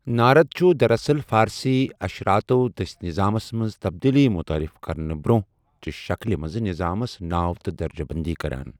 نارد چھُ دراصل، فارسی اشراتو دٔسۍ نِظامس منز تبدیلی متعارٗف كرنہٕ برونہہ چہِ شكلہِ منز نِظامس ناو تہٕ درجہٕ بندی كران ۔